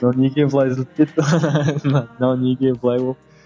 мынау неге былай үзіліп кетті мынау мынау неге былай болды